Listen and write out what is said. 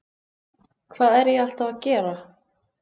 Hvað er ég alltaf að gera?